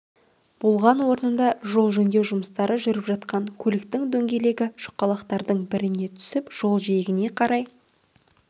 болған орында жол жөндеу жұмыстары жүріп жатқан көліктің дөңгелегі шұқалақтардың біріне түсіп жол жиегіне қарай